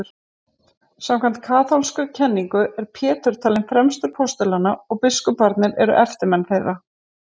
samkvæmt kaþólskri kenningu er pétur talinn fremstur postulanna og biskuparnir eru eftirmenn þeirra